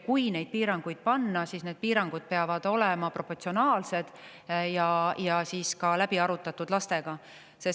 Kui piirangud luua, siis need piirangud peavad olema proportsionaalsed ja ka lastega läbi arutatud.